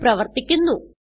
ഇത് പ്രവർത്തിക്കുന്നു